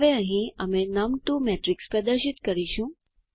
હવે અહીં અમે નમ2 મેટ્રિક્સ પ્રદર્શિત કરીશું